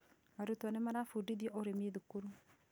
Arutwo nĩ marabũndithio ũrĩmi thukuru